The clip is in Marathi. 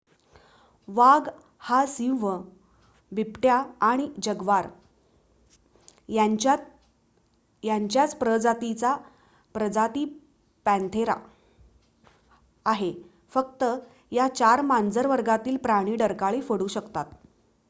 वाघ हा सिंह बिबट्या आणि जग्वार यांच्याच प्रजातीचा प्रजाती पंथेरा आहे. फक्त या 4 मांजर वर्गातील प्राणी डरकाळी फोडू शकतात